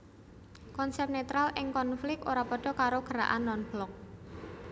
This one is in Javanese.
Konsep netral ing konflik ora padha karo gerakan non blok